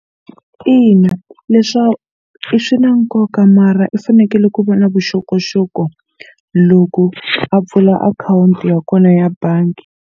Ina i swi na nkoka mara i fanekele ku va na vuxokoxoko loko a pfula akhawunti ya kona ya bangi.